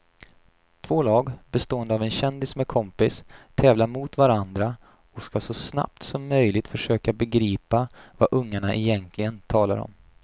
Två lag bestående av en kändis med kompis tävlar mot varandra och ska så snabbt som möjligt försöka begripa vad ungarna egentligen talar om.